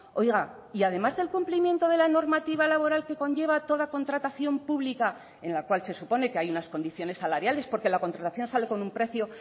oiga y además del cumplimiento de la normativa laboral que conlleva toda contratación pública en la cual se supone que hay unas condiciones salariales porque la contratación sale con un precio